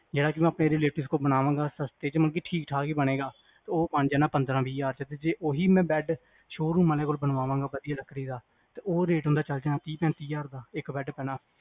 ਜਿਹੜਾ ਕੁ ਮੈਂ ਆਪਣੇ relatives ਤੋਂ ਬਣਵਾਵਾਂਗਾ ਸਸਤੇ ਚ ਮਤਲਬ ਠੀਕ ਠਾਕ ਈ ਬਣੇਗਾ ਉਹ ਬਣ ਜਾਣਾ ਪੰਦਰਾਂ ਵੀਹ ਹਜ਼ਾਰ ਚ ਤੇ ਜੇ ਓਹੀ ਬੈਡ ਸ਼ੋਅਰੂਮ ਅਲੇਆ ਕੋਲ ਬਣਾਵਾਂਗਾ ਵਧਿਆ ਲੱਕੜੀ ਦਾ ਤੇ ਉਹ ਰੇਟ ਅੰਦਰ ਚਲ ਜਾਣਾ ਤੀਹ ਪੈਂਤੀ ਹਜ਼ਾਰ ਦਾ ਇਕ bed ਪੈਣਾ